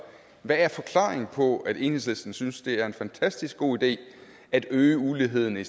hvad er forklaringen på at enhedslisten synes det er en fantastisk god idé at øge uligheden i